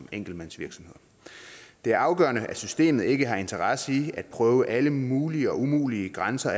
enkeltmandsvirksomheder det er afgørende at systemet ikke har interesse i at prøve alle mulige og umulige grænser